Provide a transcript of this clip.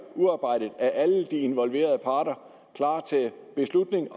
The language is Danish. udarbejdet af alle de involverede parter klar til beslutning